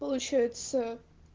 получается